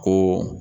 Ko